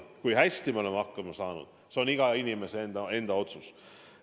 Kui hästi me oleme hakkama saanud, see on iga inimese otsustada.